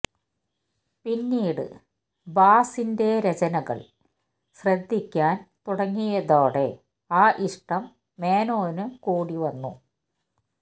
പിന്നീട് ഭാസിന്റെ രചനകള് ശ്രദ്ധിയ്ക്കാന് തുടങ്ങിയതോടെ ആ ഇഷ്ടം മേനോന് കൂടി വന്നു